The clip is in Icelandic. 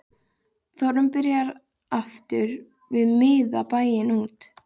Þórunn byrjar aftur að miða bæinn út